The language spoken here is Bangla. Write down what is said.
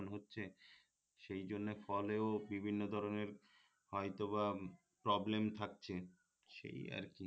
হচ্ছে সেই জন্যে ফলেও বিভিন্ন ধরনের হয়তোবা প্রবলেম থাকছে সেই আরকি